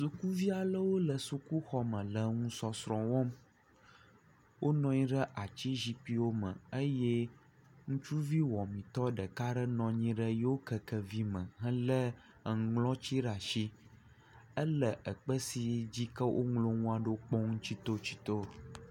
Sukuvia 'lewo le sukuxɔme le nusɔsrɔ̃wɔm, wo nɔ anyi ɖe atsi zikpiwo me eye ŋutsuvi Wɔametɔ ɖeka nɔnyi yio kekevi me hele enuŋlɔtsi ɖe asi, ele akpe sike dzi woŋlɔ ŋuaɖo kpɔm tsitsitɔ.